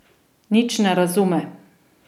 Nič ne razume.